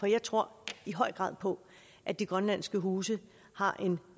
jeg tror i høj grad på at de grønlandske huse har